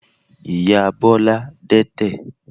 Ìyá Bọ́lá dẹ́tẹ̀.